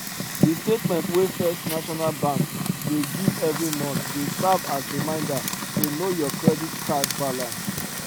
the statement wey first national bank dey give every month dey serve as reminder to know your credit card balance